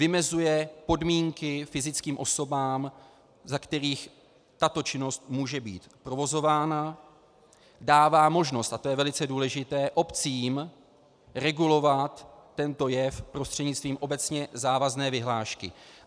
Vymezuje podmínky fyzickým osobám, za kterých tato činnost může být provozována, dává možnost, a to je velice důležité, obcím regulovat tento jev prostřednictvím obecně závazné vyhlášky.